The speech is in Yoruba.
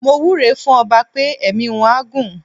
Mo wúre fún ọba pé ẹ̀mí wọ́n á gún.